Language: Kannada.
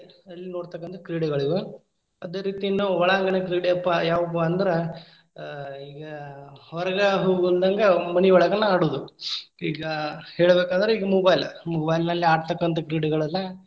ಹಳ್ಳಿಯಲ್ಲಿ ನೋಡತಕ್ಕಂತಾ ಕ್ರೀಡೆಗಳಿವು. ಅದೇ ರೀತಿ ನಾವು ಒಳಾಂಗಣ ಕ್ರೀಡೆಪ್ಪಾ ಯಾವುಪಾ ಅಂದ್ರ ಅ ಈಗ್‌ ಆ ಹೊರಗ್‌ ಹೋಗ್ಲದಂಗ್‌ ಮನಿಯೊಳಗನ್‌ ಆಡುದು. ಈಗಾ ಹೇಳಬೇಕಾದ್ರೆ ಇಗ mobile, mobile ನಲ್ಲಿ ಆಡ್ತಕ್ಕಂತ ಕ್ರೀಡೆಗಳೆಲ್ಲ.